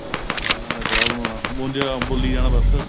ਗੱਲਾਂ ਦਾ ਕੜਾਹ ਬਣਾਉਣਾ ਬੋੰਦੀ ਬੋਲੀ ਜਾਣਾ ਬੱਸ